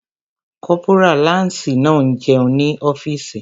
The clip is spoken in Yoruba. Kọ́pórà láǹsì náà n jẹun ní ọ́fìsì